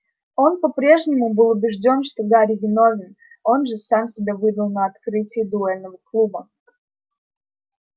он по-прежнему был убеждён что гарри виновен он же сам себя выдал на открытии дуэльного клуба